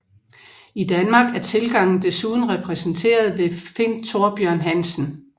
I Danmark er tilgangen desuden repræsenterer ved Finn Thorbjørn Hansen